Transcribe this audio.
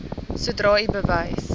sodra u bewus